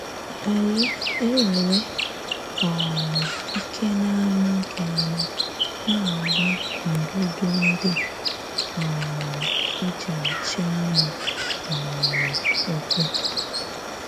Ànyị enwere um ike n’amaghị ama “ na- agba ndụdụ ndị um e ji achị anụ um ụkwụ ”?